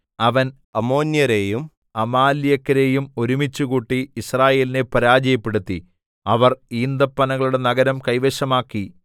അവൻ അമ്മോന്യരെയും അമാലേക്യരെയും ഒരുമിച്ചുകൂട്ടി യിസ്രായേലിനെ പരാജയപ്പെടുത്തി അവർ ഈന്തപ്പനകളുടെ നഗരം കൈവശമാക്കി